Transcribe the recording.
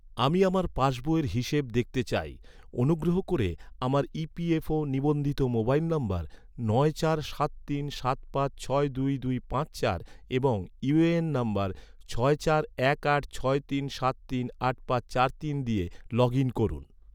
আমি আমার পাসবইয়ের হিসেব দেখতে চাই, অনুগ্রহ করে, আমার ই.পি.এফ.ও ​​নিবন্ধিত মোবাইল নম্বর নয় চার সাত তিন সাত পাঁচ ছয় দুই দুই পাঁচ চার এবং ইউএএন নম্বর ছয় চার এক আট ছয় তিন সাত তিন আট পাঁচ চার তিন দিয়ে, লগ ইন করুন